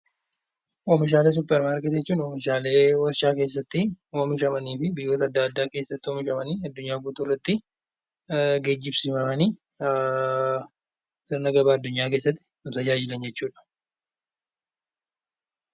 Oomishaalee suupparmaarkeetii jechuun oomishaalee warshaa keessatti oomishamanii fi biyya adda addaa keessatti oomishamanii addunyaa guutuurratti geejjibsiifamanii sirna gabaa addunyaa keessatti argaman jechuudha